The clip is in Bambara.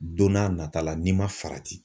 Don n'a nata la n'i ma farati